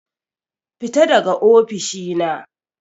Fita daga ofishina.